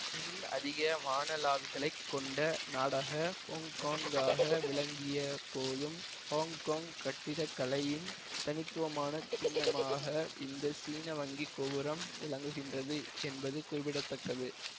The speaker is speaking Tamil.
உலகில் அதிக வானளாவிகளை கொண்ட நாடாக ஹொங்கொங்காக விளங்கியப்போதும் ஹொங்கொங் கட்டிக்கலையின் தனித்துவமானச் சின்னமாக இந்த சீன வங்கி கோபுரம் விளங்குகின்றது என்பது குறிப்பிட தக்கது